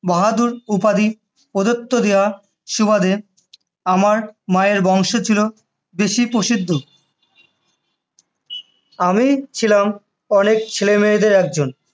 বাহাদুর উপাধি প্রদত্ত হওয়ার সুবাদে আমার মায়ের বংশ ছিল বেশ প্রসিদ্ধ, আমি ছিলাম অনেক ছেলেমেয়েদের মধ্যে একজন,